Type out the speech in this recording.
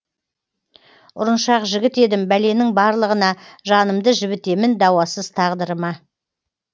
ұрыншақ жігіт едім бәленің барлығына жанымды жібітемін дауасыз тағдырыма